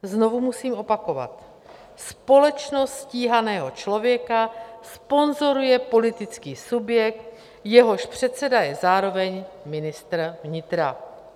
Znovu musím opakovat: Společnost stíhaného člověka sponzoruje politický subjekt, jehož předseda je zároveň ministr vnitra.